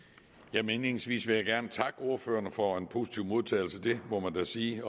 indledningsvis vil jeg gerne takke ordførerne for en positiv modtagelse det må man da sige